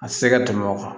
A tɛ se ka tɛmɛ o kan